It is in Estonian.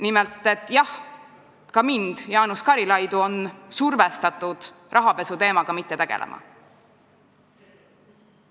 Nimelt, et jah, ka teda, Jaanus Karilaidi, on survestatud rahapesuteemaga mitte tegelema.